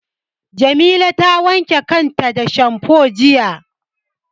Jamila ta wanke kanta da shamfo jiya.